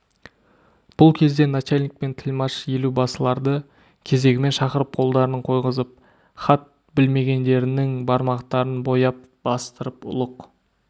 бұл кезде начальник пен тілмаш елубасыларды кезегімен шақырып қолдарын қойғызып хат білмегендерінің бармақтарын бояп бастырып ұлық